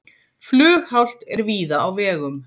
Flughált er víða á vegum